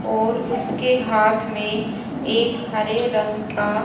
और उसके हाथ में एक हरे रंग का --